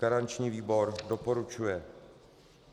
Garanční výbor doporučuje.